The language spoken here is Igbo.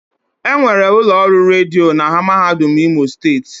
Enwere ụlọ ọrụ redio na mahadum imo steeti.